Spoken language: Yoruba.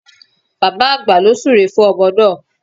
Bàbá àgbà ló súre fún ọmọ náà